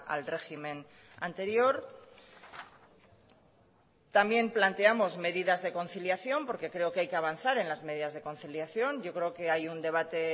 al régimen anterior también planteamos medidas de conciliación porque creo que hay que avanzar en las medidas de conciliación yo creo que hay un debate